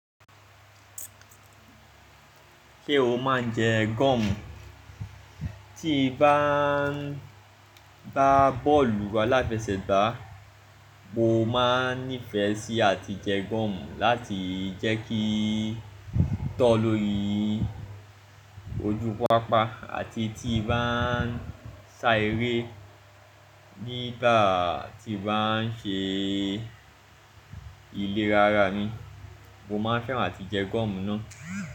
Ṣé o máa ń jẹ gọ́ọ̀mù? Tí bá ń ba bọ́ọ̀lù aláfẹsẹ̀gbá, mo máa nífẹ̀ẹ́ sí àti jẹ gọ́ọ̀mù láti jẹ́ kí tó lórí ojú pápá àti tí bá ń sá eré, nígbà tí bá n ṣe iléra ara mi, mo máa n fẹ́ràn áti jẹ gọ́ọ̀mù náà.